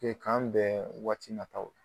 k'an bɛn waati na taw la.